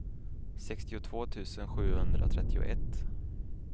sextiotvå tusen sjuhundratrettioett